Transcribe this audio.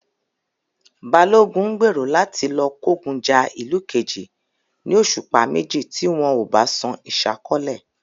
Balogun ń gbèrò láti lọ kógun ja ìlú kejì ní òṣùpá méjì tí wọn ò bá san ìsákọ́lẹ̀